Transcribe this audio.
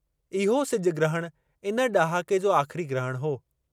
इहो सिजु ग्रहण इन ड॒हाके जो आख़िरी ग्रहण हो।